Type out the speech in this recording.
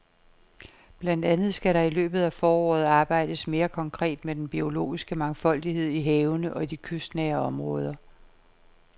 Blandt andet skal der i løbet af foråret arbejdes mere konkret med den biologiske mangfoldighed i havene og i de kystnære områder.